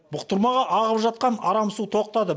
бұқтырмаға ағып жатқан арам су тоқтады